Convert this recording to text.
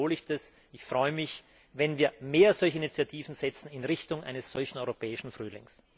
Insofern wiederhole ich Ich freue mich, wenn wir mehr solche Initiativen in Richtung eines solchen europäischen Frühlings setzen!